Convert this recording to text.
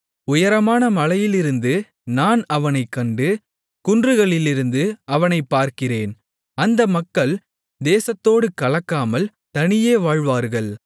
உயரமான மலையிலிருந்து நான் அவனைக் கண்டு குன்றுகளிலிருந்து அவனைப் பார்க்கிறேன் அந்த மக்கள் தேசத்தோடு கலக்காமல் தனியே வாழ்வார்கள்